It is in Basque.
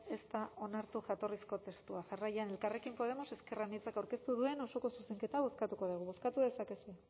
ez da onartu jatorrizko testua jarraian elkarrekin podemos ezker anitzak aurkeztu duen osoko zuzenketa bozkatuko dugu bozkatu dezakezu